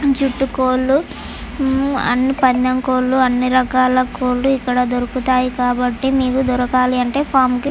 దాని చుట్టూ కోళ్లు ఉమ్మ్ అన్ని పందెం కోళ్లు అన్ని రకాల కోళ్లు ఇక్కడ దొరుకుతాయి కాబట్టి ఇవి దొరకాలి అంటే ఫార్మ్ కి--